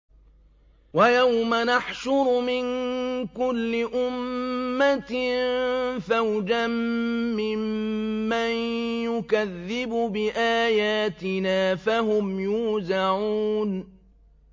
وَيَوْمَ نَحْشُرُ مِن كُلِّ أُمَّةٍ فَوْجًا مِّمَّن يُكَذِّبُ بِآيَاتِنَا فَهُمْ يُوزَعُونَ